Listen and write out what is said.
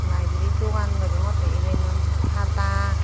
layebary dogan degongottey ebenot hata.